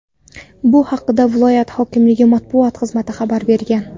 Bu haqda viloyat hokimligi matbuot xizmati xabar bergan .